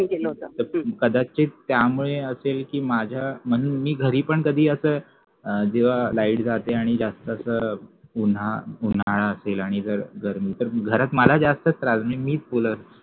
कदाचित त्यामुळे असेल कि माझ्या म्हणून मी घरी पण कधी अस जेव्हा light जाते आणि जास्त असा उन्हाळा असेल गर्मी तर घरात मला जास्त त्रास मीच बोलत असतो